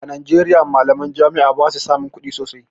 A Najeriya malaman jami'a basu samun kuɗi sosai